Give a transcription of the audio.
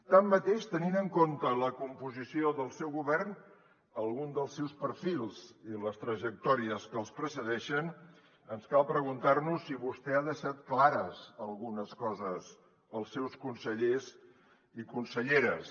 tanmateix tenint en compte la composició del seu govern alguns dels seus perfils i les trajectòries que els precedeixen ens cal preguntar nos si vostè ha deixat clares algunes coses als seus consellers i conselleres